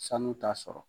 Sanu t'a sɔrɔ